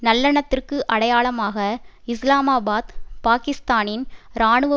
நல்லெண்ணத்திற்கு அடையாளமாக இஸ்லாமாபாத் பாக்கிஸ்தானின் இராணுவ